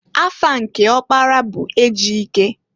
Afa nke ọkpara bu Ejike.